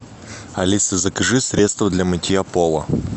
алиса закажи средство для мытья пола